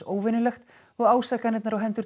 óvenjulegt og ásakanirnar á hendur